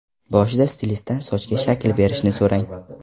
Boshida stilistdan sochga shakl berishni so‘rang.